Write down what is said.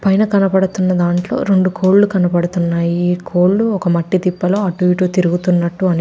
పైన కనబడుతున్న దాంట్లో రెండు కోళ్ళు కనబడుతున్నాయి. కోళ్ళు ఒక మట్టి దిబ్బలో అటు ఇటు తిరుగుతున్నట్టు అని --